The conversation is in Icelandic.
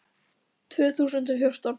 Tvö þúsund og fjórtán